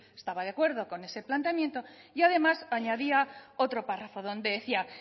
estaba de acuerdo con ese planteamiento y además añadía otro párrafo donde decía